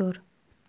зор